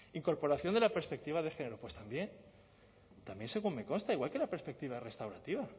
incorporación de la perspectiva de género pues también también según me consta igual que la perspectiva restaurativa